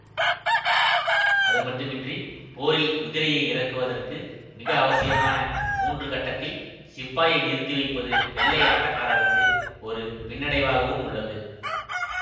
அதுமட்டுமின்றி போரில் குதிரையை இறக்குவதற்கு மிக அவசியமான மூன்று கட்டத்தில் சிப்பாயை நிறுத்தி வைப்பது வெள்ளை ஆட்டக்காரருக்கு ஒரு பின்னடைவாகவும் உள்ளது